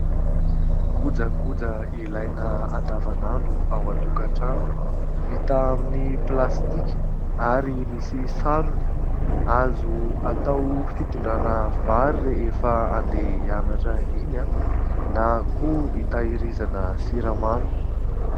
Kojakoja ilaina andavan'andro ao an-tokantrano, vita amin'ny plastika ary misy sarony; azo atao fitondrana vary rehefa handeha hianatra iny aho, na koa hitahirizana siramamy.